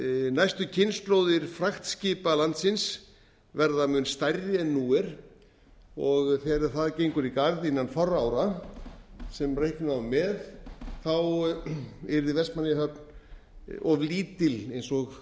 næstu kynslóðir fragtskipa landsins verða mun stærri en nú er og þegar það gengur í garð innan fárra ára sem reikna má með yrði vestmannaeyjahöfn of lítil eða það